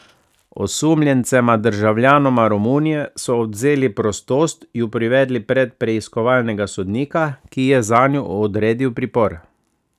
Osumljencema, državljanoma Romunije, so odvzeli prostost, ju privedli pred preiskovalnega sodnika, ki je zanju odredil pripor.